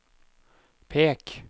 pek